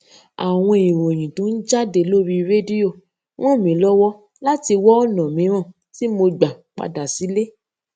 àwọn ìròyìn tó ń jáde lórí rédíò ràn mí lówó láti wá ònà mìíràn tí mo gbà padà sílé